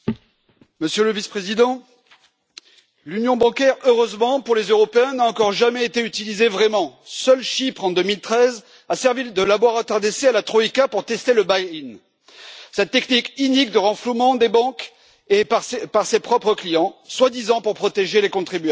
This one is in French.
Monsieur le Vice président, l'Union bancaire, heureusement pour les Européens, n'a encore jamais été vraiment utilisée. Seul Chypre, en 2013, a servi de laboratoire d'essai à la Troïka pour tester le cette technique inique de renflouement des banques par ses propres clients, soi disant pour protéger les contribuables.